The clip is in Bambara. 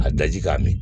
A daji k'a min